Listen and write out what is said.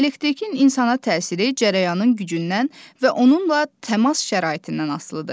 Elektrikin insana təsiri cərəyanın gücündən və onunla təmas şəraitindən asılıdır.